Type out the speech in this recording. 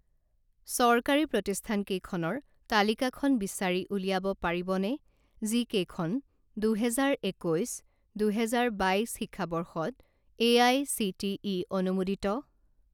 চৰকাৰী প্ৰতিষ্ঠানকেইখনৰ তালিকাখন বিচাৰি উলিয়াব পাৰিবনে যিকেইখন দুহেজাৰ একৈছ দুহেজাৰ বাইছ শিক্ষাবৰ্ষত এআইচিটিই অনুমোদিত?